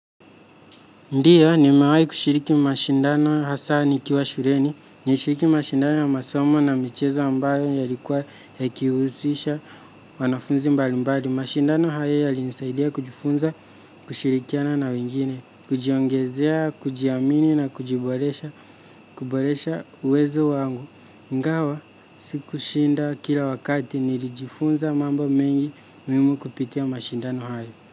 Ndiyo, nimewahi kushiriki mashindano hasa nikiwa shuleni. Nilishiriki mashindano ya masomo na michezo ambayo yalikuwa yakihusisha, wanafunzi mbalimbali. Mashindano haya yalinisaidia kujifunza, kushirikiana na wengine, kujiongezea, kujiamini na kujiboresha, kuboresha uwezo wangu. iNgawa, sikushinda kila wakati nilijifunza mambo mengi muhimu kupitia mashindano hayo.